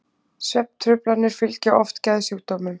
svefntruflanir fylgja oft geðsjúkdómum